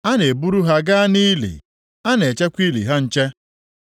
A na-eburu ha gaa nʼili, a na-echekwa ili ha nche.